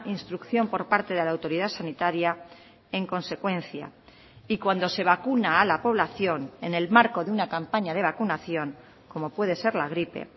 instrucción por parte de la autoridad sanitaria en consecuencia y cuando se vacuna a la población en el marco de una campaña de vacunación como puede ser la gripe